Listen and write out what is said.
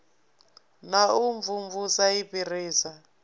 na u imvumvusa i fhirisa